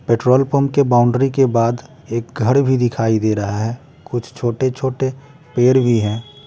Petrol pump के boundary के बाद एक घर भी दिखाई दे रहा है कुछ छोटे छोटे पेड़ भी हैं।